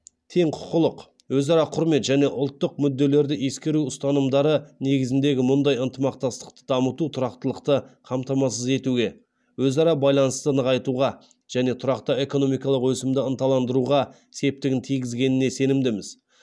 тең құқылық өзара құрмет және ұлттық мүдделерді ескеру ұстанымдары негізіндегі мұндай ынтымақтастықты дамыту тұрақтылықты қамтамасыз етуге өзара байланысты нығайтуға және тұрақты экономикалық өсімді ынталандыруға септігін тигізетініне сенімдіміз